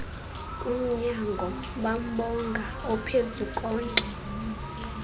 umnyango bambonga ophezukonke